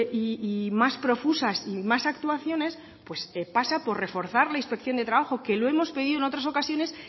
y más profusas y más actuaciones pues pasa por reforzar la inspección de trabajo que lo hemos pedido en otras ocasiones